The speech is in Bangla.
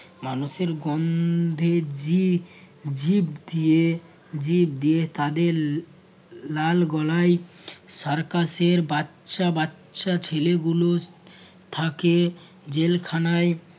মানুষের গন্ধে যে জিভ দিয়ে জীব দিয়ে তাদের লাল গলায় circus এর বাচ্চা বাচ্চা ছেলে গুলো থাকে জেল খানায়